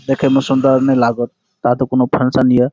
देखे में सुन्दर नहीं लागौ ताह तो कउनो फंक्शन हिय।